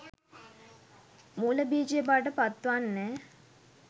මුල බීජය බවට පත්වන්නේ